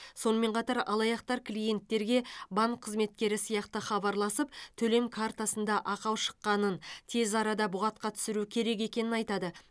сонымен қатар алаяқтар клиенттерге банк қызметкері сияқты хабарласып төлем картасында ақау шыққанын тез арада бұғатқа түсіру керек екенін айтады